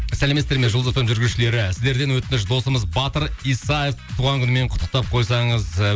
сәлеметсіздер ме жұлдыз эф эм жүргізушілері сіздерден өтініш досымыз батыр исаев туған күнімен құттықтап қойсаңыз ы